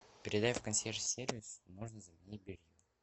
передай в консьерж сервис можно заменить белье